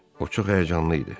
O çox həyəcanlı idi.